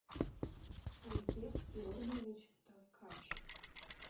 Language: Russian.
альберт георгиевич толкач